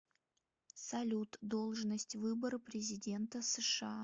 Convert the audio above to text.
салют должность выборы президента сша